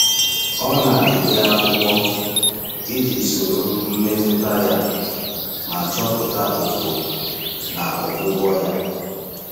Ọ na-ede akwụkwọ iji soro mmetụta ya ma chọpụta ụkpụrụ na ọgwụgwọ ya.